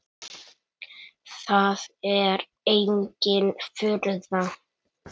Það er engin furða.